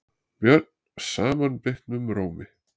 björn samanbitnum rómi.